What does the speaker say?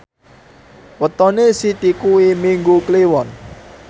wetone Siti kuwi Minggu Kliwon